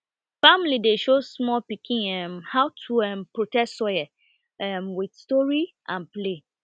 family dey show small pikin um how to um protect soil um with story and play